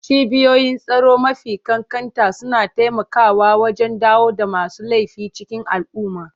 Cibiyoyin tsaro mafi ƙanƙanta suna taimakawa wajen dawo da masu laifi cikin al'umma.